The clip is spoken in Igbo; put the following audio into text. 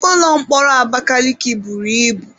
Ụlọ mkpọrọ Abakaliki buru ibu.